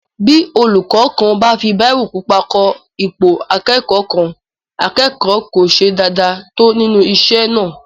Bí olúkọ́ kan bá fi bírò pupa kọ ipò akẹ́kọ̀ọ́ kan, akẹ́kọ̀ọ́ kò ṣe dáadáa tó nínú isé náà